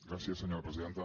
gràcies senyora presidenta